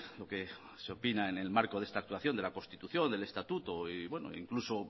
lo que se opina en el marco de esta actuación de la constitución del estatuto e incluso